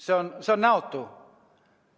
See on näotu.